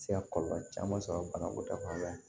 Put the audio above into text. Se ka kɔlɔlɔ caman sɔrɔ banako ta fan fɛ